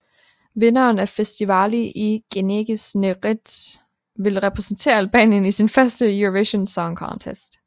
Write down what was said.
Vinderen af Festivali i Këngës në RTSH ville repræsentere Albanien i sin første Eurovision Song Contest